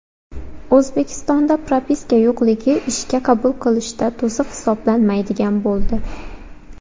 O‘zbekistonda propiska yo‘qligi ishga qabul qilishda to‘siq hisoblanmaydigan bo‘ldi.